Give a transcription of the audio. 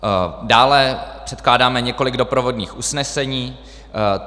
Dále předkládáme několik doprovodných usnesení.